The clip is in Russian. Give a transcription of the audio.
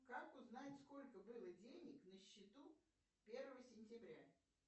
как узнать сколько было денег на счету первого сентября